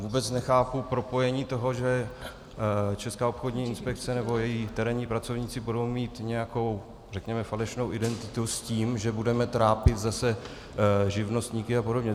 Vůbec nechápu propojení toho, že Česká obchodní inspekce nebo její terénní pracovníci budou mít nějakou řekněme falešnou identitu, s tím, že budeme trápit zase živnostníky a podobně.